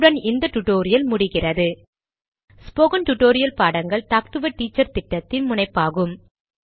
இத்துடன் இந்த டுடோரியல் முடிகிறது ஸ்போகன் டுடோரியல் பாடங்கள் டாக்டு எ டீச்சர் திட்டத்தின் முனைப்பாகும்